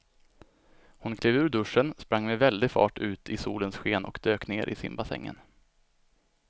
Hon klev ur duschen, sprang med väldig fart ut i solens sken och dök ner i simbassängen.